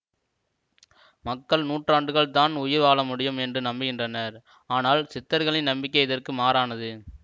மக்கள் நூறாண்டுகள் தான் உயிர் வாழமுடியும் என்று நம்புகின்றனர் ஆனால் சித்தர்களின் நம்பிக்கை இதற்கு மாறானது